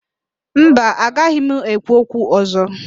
Mba, agaghị m ekwu okwu ọ̀zọ́.